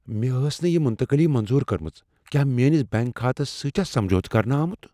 مےٚ ٲس نہٕ یہ مُنتقلی منظور كٔرمٕژ۔ کیٛاہ میٲنِس بیٚنٛک كھاتس سۭتۍ چھا سمجھوتہٕ کرنہٕ آمُت ۔